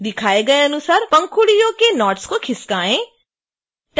दिखाए गए अनुसार पंखुड़ियों के नोड्स को खिसकाएँ